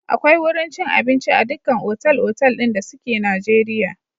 Akwai wurin cin abinci a dukkan otal-otal ɗin da suke Najeriya.